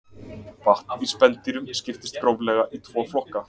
vatn í spendýrum skiptist gróflega í tvo flokka